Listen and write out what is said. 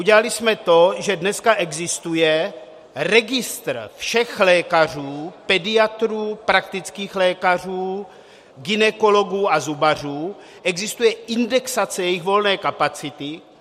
Udělali jsme to, že dneska existuje registr všech lékařů, pediatrů, praktických lékařů, gynekologů a zubařů, existuje indexace jejich volné kapacity.